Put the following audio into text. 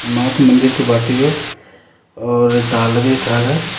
मा कु मंदिर कु बाटू यो और डाला भी ये खागा।